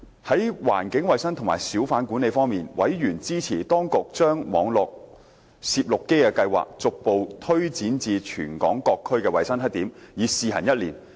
在環境衞生及小販管理方面，委員支持當局將網絡攝錄機計劃，逐步推展至全港各區的衞生黑點，以試行一年。